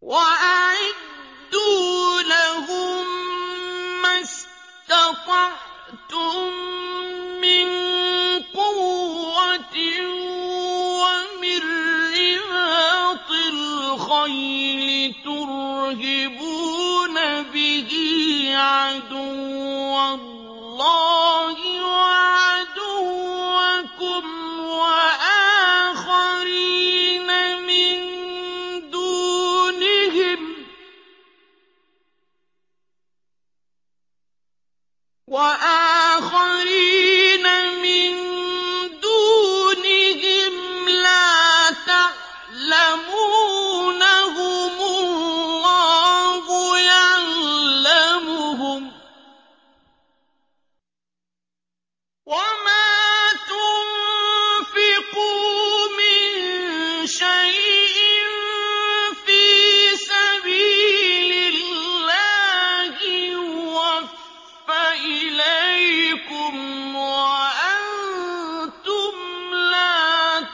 وَأَعِدُّوا لَهُم مَّا اسْتَطَعْتُم مِّن قُوَّةٍ وَمِن رِّبَاطِ الْخَيْلِ تُرْهِبُونَ بِهِ عَدُوَّ اللَّهِ وَعَدُوَّكُمْ وَآخَرِينَ مِن دُونِهِمْ لَا تَعْلَمُونَهُمُ اللَّهُ يَعْلَمُهُمْ ۚ وَمَا تُنفِقُوا مِن شَيْءٍ فِي سَبِيلِ اللَّهِ يُوَفَّ إِلَيْكُمْ وَأَنتُمْ لَا